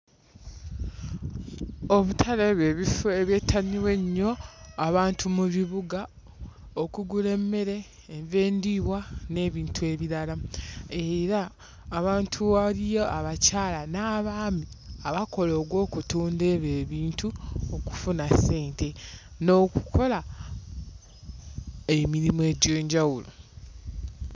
Obutale bye bifo ebyettanirwa ennyo abantu mu bibuga okugula emmere, enva endiirwa n'ebintu ebirala, era abantu waliya abakyala n'abaami abakola ogw'okutunda ebyo ebintu okufuna ssente n'okukola emirimu egy'enjawulo.